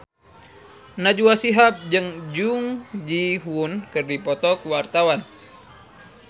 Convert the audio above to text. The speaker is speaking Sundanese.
Najwa Shihab jeung Jung Ji Hoon keur dipoto ku wartawan